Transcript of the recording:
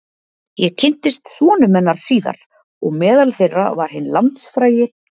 Ég kynntist sonum hennar síðar og meðal þeirra var hinn landsfrægi